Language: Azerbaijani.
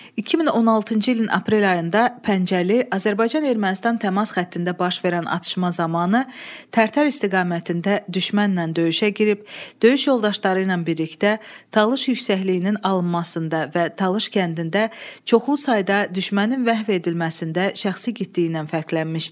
2016-cı ilin aprel ayında Pəncəli Azərbaycan-Ermənistan təmas xəttində baş verən atışma zamanı Tərtər istiqamətində düşmənlə döyüşə girib, döyüş yoldaşları ilə birlikdə Talış yüksəkliyinin alınmasında və Talış kəndində çoxlu sayda düşmənin məhv edilməsində şəxsi igidliyi ilə fərqlənmişdi.